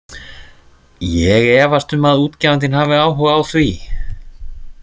Ég efast um að útgefandinn hafi áhuga á því.